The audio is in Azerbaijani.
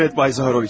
Bəli, bəy Zaharoviç.